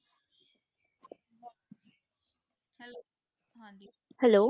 Hello